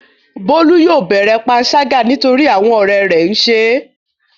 Bólú yóò bẹ̀rẹ̀ panṣágà nítorí àwọn ọ̀rẹ́ rẹ̀ ń ṣe é.